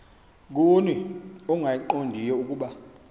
kuni ongayiqondiyo ukuba